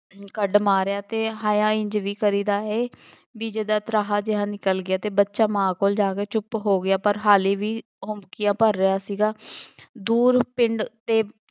ਕੱਢ ਮਾਰਿਆ ਅਤੇ ਹਾਇਆ ਇੰਝ ਨਹੀਂ ਕਰੀਦਾ ਏ, ਬਈ ਜਿਦਾਂ ਤਰਾਹ ਜਿਹਾ ਨਿਕਲ ਗਿਆ, ਬੱਚਾ ਮਾਂ ਕੋਲ ਜਾ ਕੇ ਚੁੱਪ ਹੋ ਗਿਆ ਪਰ ਹਾਲੇ ਵੀ ਹਉਂਕਿਆ ਭਰ ਰਿਹਾ ਸੀਗਾ ਦੂਰ ਪਿੰਡ ਦੇ